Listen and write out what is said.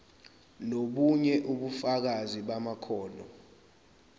nobunye ubufakazi bamakhono